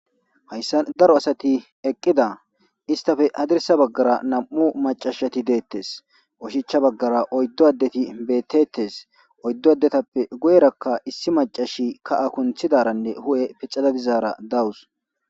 Hayssa daro asati eqqida istafe hadirsa baggara nam7u macashati deettes oshicha baggara oyddo addeti beettettes oyddo addetappe gu7erakka issi macashi ka7a kunthidaranne hu7e pixada bizaara dawus.